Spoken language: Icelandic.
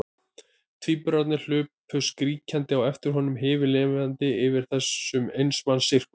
Tvíburarnir hlupu skríkjandi á eftir honum, himinlifandi yfir þessum eins manns sirkus.